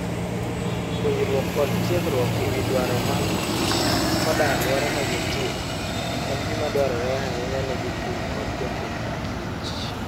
Puonjruok kod tiegruok e wi dwaro mag kich kod alwora ma gintie, en gima dwarore ahinya ne jopur kod jopith kich.